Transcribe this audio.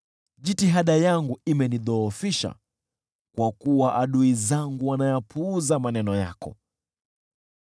Jitihada yangu imenidhoofisha, kwa kuwa adui zangu wanayapuuza maneno yako.